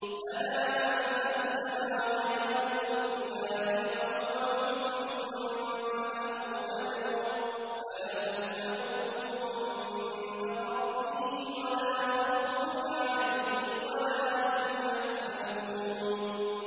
بَلَىٰ مَنْ أَسْلَمَ وَجْهَهُ لِلَّهِ وَهُوَ مُحْسِنٌ فَلَهُ أَجْرُهُ عِندَ رَبِّهِ وَلَا خَوْفٌ عَلَيْهِمْ وَلَا هُمْ يَحْزَنُونَ